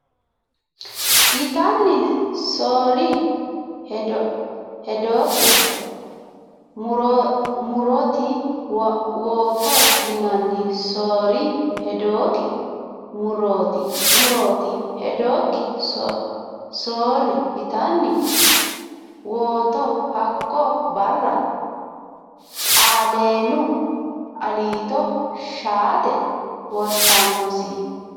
yitanni soorri Hedokki murrooti wotto yitanni soorri Hedokki murrooti murrooti Hedokki soorri yitanni wotto Hakko barra Xaaleenu Aliito shaate wortannosi !